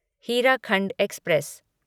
Hirakhand express